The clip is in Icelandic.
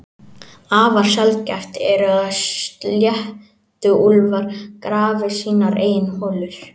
Afar sjaldgæft er að sléttuúlfar grafi sínar eigin holur.